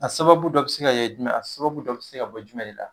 A sababu dɔ be se ka kɛ jumɛn ye? A sababu dɔ be se ka bɔ jumɛn de la?